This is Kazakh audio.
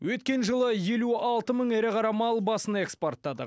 өткен жылы елу алты мың ірі қара мал басын экспорттадық